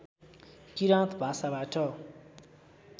किराँत भाषाबाट